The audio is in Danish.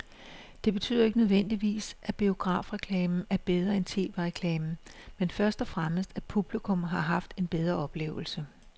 Det betyder ikke nødvendigvis, at biografreklamen er bedre end tv-reklamen, men først og fremmest at publikum har haft en bedre oplevelse.